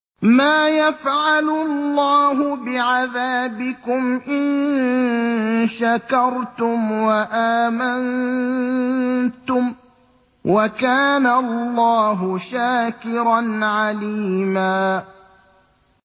مَّا يَفْعَلُ اللَّهُ بِعَذَابِكُمْ إِن شَكَرْتُمْ وَآمَنتُمْ ۚ وَكَانَ اللَّهُ شَاكِرًا عَلِيمًا